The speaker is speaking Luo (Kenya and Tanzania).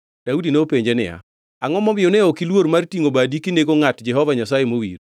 Daudi nopenje niya, “Angʼo momiyo ne ok iluor mar tingʼo badi kinego ngʼat Jehova Nyasaye mowir?”